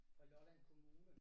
Fra Lolland Kommune